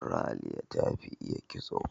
Raliya ta fi iya kitso.